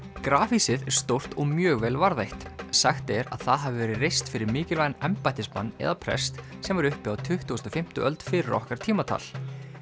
grafhýsið er stórt og mjög vel varðveitt sagt er að það hafi verið reist fyrir mikilvægan embættismann eða prest sem var uppi á tuttugustu og fimmtu öld fyrir okkar tímatal